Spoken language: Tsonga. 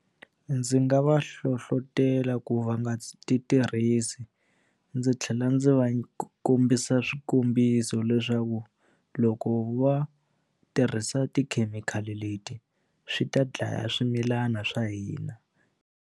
Ndzi nga va hlohlotela ku va nga ti tirhisi ndzi tlhela ndzi va kombisa swikombiso leswaku loko va tirhisa tikhemikhali leti swi ta dlaya swimilana swa hina.